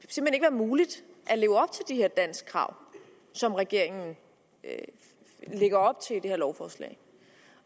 muligt at leve her danskkrav som regeringen lægger op til med det her lovforslag